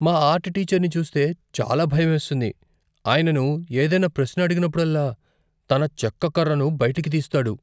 మా ఆర్ట్ టీచర్ని చూస్తే చాలా భయమేస్తుంది. ఆయనను ఏదైనా ప్రశ్న అడిగినప్పుడల్లా, తన చెక్క కర్రను బయటకు తీస్తాడు.